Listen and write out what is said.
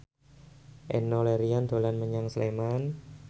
Enno Lerian dolan menyang Sleman